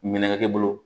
Ɲɛnɛkɛ e bolo